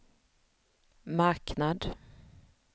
marknad